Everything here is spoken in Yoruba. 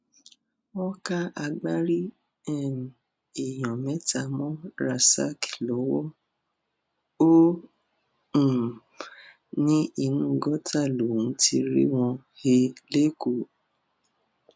wọn ká agbárí um èèyàn mẹta mọ rasaq lọwọ ó um ní inú gọtà lòún ti rí wọn he lẹkọọ